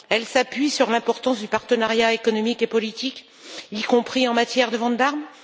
Elle s'appuie sur l'importance du partenariat économique et politique, y compris en matière de vente d'armes.